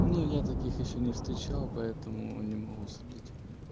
ну я таких ещё не встречал поэтому не могу судить